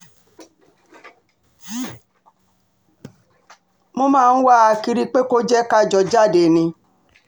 mo máa ń wá a kiri pé kò jẹ́ ká jọ jáde ni